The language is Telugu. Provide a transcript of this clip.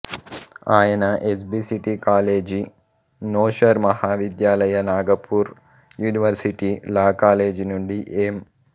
ఆయన ఎస్ బి సిటీ కాలేజీ నోషర్ Mahavidyalaya Nagpur university law college నుండి ఏం